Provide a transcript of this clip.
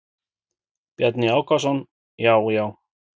Bjarni Ákason: Já já.